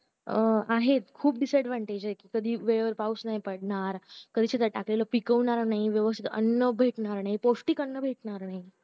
अं आहे खूप disadvantage आहे कधी वेळेवर पाऊस नाही पडणार कधी शेतात टाकलेले पिकवणारा नाही व्यवस्तीत अन्न भेटणार नाही पौष्टिक अन्न भेटणार नाही